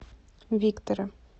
виктора